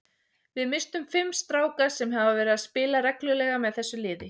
Við misstum fimm stráka sem hafa verið að spila reglulega með þessu liði.